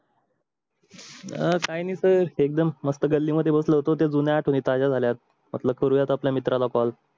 अं काही नाही ते एकदम मस्त गल्ली मध्ये बसलो होतो ते जुण्या आठवणी ताज्या जाल्यात म्हटलं करुयात आपल्या मित्राला call